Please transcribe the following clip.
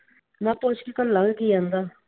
ਮੈ ਪੁੱਛ ਕੇ ਘਲਾ ਕੀ ਆਉਂਦਾ?